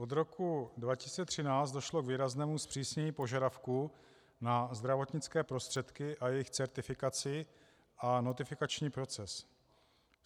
Od roku 2013 došlo k výraznému zpřísnění požadavků na zdravotnické prostředky a jejich certifikaci a notifikační proces.